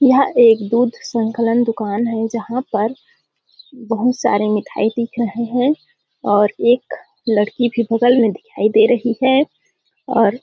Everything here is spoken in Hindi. यह एक दूध संखलन दुकान है जहाँ पर बहुत सारे मीठाई दिख रहे है और एक लड़की भी बगल में दिखाई दे रही है और-- .